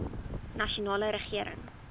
nasionale regering